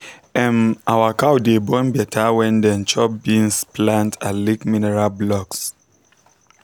um our cow dey born better when dem chop beans plant and lick mineral blocks.